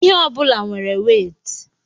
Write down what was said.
ihe ọ bụla nwere wéétị